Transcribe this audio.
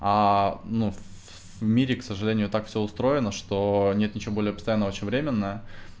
ну в мире к сожалению так все устроено что нет ничего более постоянного чем временное